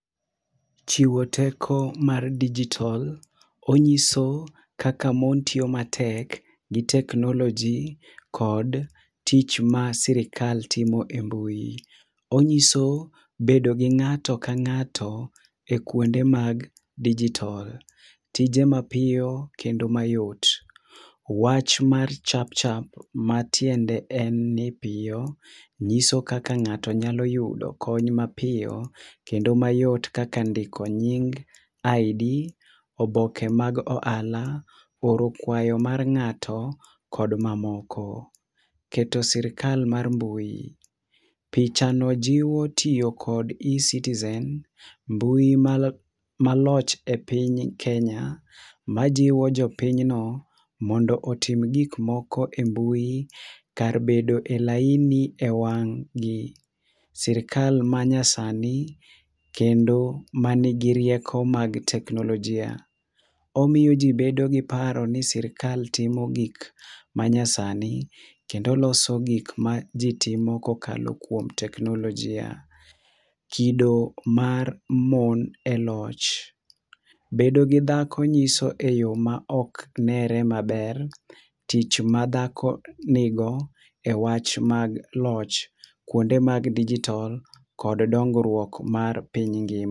Chiwo teko mar digital, onyiso kaka mon tio matek gi teknoloji kod tich ma sirikal timo e mbui. Onyiso bedo gi ng'ato ka ng'ato e kwonde mag digital, tije mapio kendo mayot, wach mar chapchap ma tiende en ni pio, nyiso kaka ng'ato nyalo yudo kony mapio kendo mayot kaka ndiko nying, ID, obokre mag oala, oro kwayo mar ng'ato kod mamoko. Keto sirkal mar mbui, picha no jiwo tio kod eCitizen, mbui mal maloch e piny Kenya, majiwo jopinyno mondo otim gikmoko e mbui, kar bedo e laini e wang'gi. Sirkal manyasani kendo manigi rieko mag teknolojia. Omio jii bedo gi paro ni sirkal timo gik manyasani, kendo loso gik majii timo kokalo kwom teknolojia. Kido mar mon e loch: bedo gi dhako nyiso e yoo ma oknere maber tich madhako nigo e wach mag loch kwonde mag digital kod dongrwuok mar piny ngi..